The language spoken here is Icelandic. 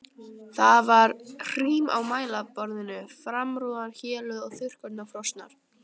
Það var hrím á mælaborðinu, framrúðan héluð og þurrkurnar frosnar.